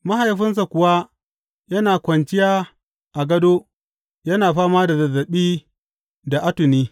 Mahaifinsa kuwa yana kwanciya a gado yana fama da zazzaɓi da atuni.